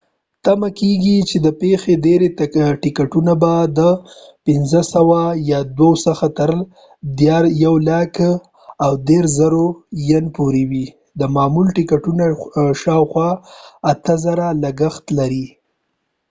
تمه کیږي چې د پیښې ډیری ټیکټونه به د ۲،۵۰۰ څخه تر ¥ ۱۳۰،۰۰۰ ين پورې وي، د معمول ټیکټونو شاوخوا ۷،۰۰۰ لګښت لري۔